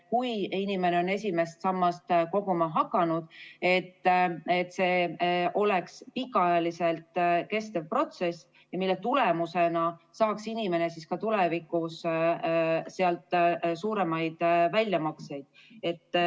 Kui inimene on esimesse sambasse raha koguma hakanud, siis peaks see olema pikka aega kestev protsess, mille tulemusena saaks inimene sealt tulevikus suuremaid väljamakseid.